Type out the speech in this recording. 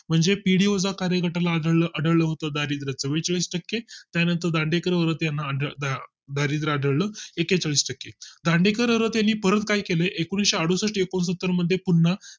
म्हणजे पिढीवोचा चा कार्यगटाला आढळल होत दारिद्य एकेचाळीसटक्के त्यानंतर दांडेकर व त्याना दारिद्य आढळ एकेचाळीस टक्के दांडेकरांनी त्यांनी परत काही केले एकनिशे अडुसष्ठ एकूनसतात्तर मध्ये पुन्हा